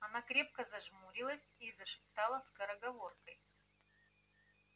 она крепко зажмурилась и зашептала скороговоркой